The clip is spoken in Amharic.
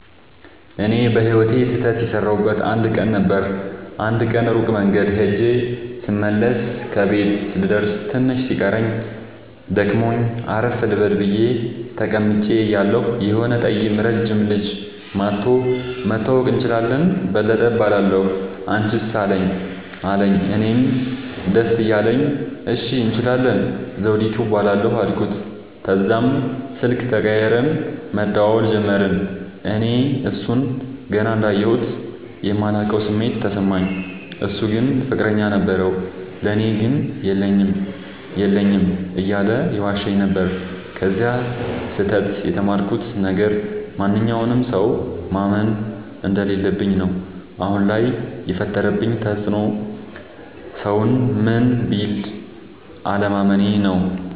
እኔ በህይወቴ ስህተት የሠረውበት አንድ ቀን ነበር። አንድ ቀን ሩቅ መንገድ ኸጀ ስመለስ ከቤቴ ልደርስ ትንሽ ሲቀረኝ ደክሞኝ አረፍ ልበል ብየ ተቀምጨ እያለሁ የሆነ ጠይም ረጅም ልጅ መኧቶ<< መተዋወቅ እንችላለን በለጠ እባላለሁ አንችስ አለኝ>> አለኝ። እኔም ደስ እያለኝ እሺ እንችላለን ዘዉዲቱ እባላለሁ አልኩት። ተዛም ስልክ ተቀያይረን መደዋወል ጀመርን። እኔ እሡን ገና እንዳየሁት የማላቀዉ ስሜት ተሰማኝ። እሡ ግን ፍቅረኛ ነበረዉ። ለኔ ግን የለኝም የለኝም እያለ ይዋሸኝ ነበር። ከዚ ስህተ ት የተማርኩት ነገር ማንኛዉንም ሠዉ ማመን እንደለለብኝ ነዉ። አሁን ላይ የፈጠረብኝ ተፅዕኖ ሠዉን ምንም ቢል አለማመኔ ነዉ።